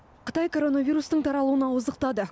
қытай коронавирустың таралуын ауыздықтады